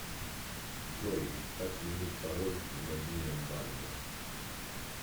джой как сменить пароль в мобильном банке